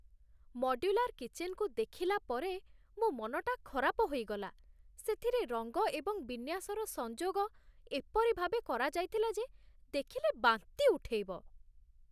Modular କିଚେନ୍‌ରୁ ଦେଖିଲା ପରେ ମୋ ମନଟା ଖରାପ ହୋଇଗଲା। ସେଥିରେ ରଙ୍ଗ ଏବଂ ବିନ୍ୟାସର ସଂଯୋଗ ଏପରି ଭାବେ କରାଯାଇଥିଲା ଯେ ଦେଖିଲେ ବାନ୍ତି ଉଠେଇବ।